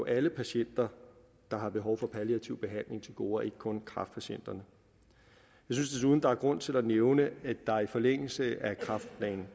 alle patienter der har behov for palliativ behandling til gode og ikke kun kræftpatienter jeg synes desuden der er grund til at nævne at der i forlængelse af kræftplan